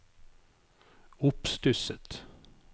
oppstusset